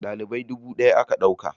dalibai dubu daya aka dauka